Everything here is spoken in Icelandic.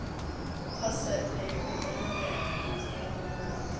Passaðu þig að brenna þig ekki sagði hún við hann.